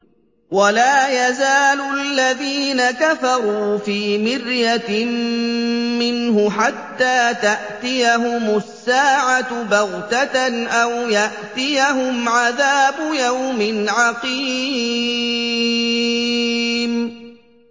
وَلَا يَزَالُ الَّذِينَ كَفَرُوا فِي مِرْيَةٍ مِّنْهُ حَتَّىٰ تَأْتِيَهُمُ السَّاعَةُ بَغْتَةً أَوْ يَأْتِيَهُمْ عَذَابُ يَوْمٍ عَقِيمٍ